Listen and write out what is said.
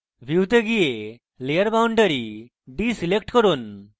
view go যান এবং layer boundary ডীselect করুন